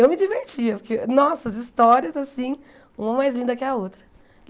Eu me divertia, porque, nossa, as histórias assim, uma mais linda que a outra.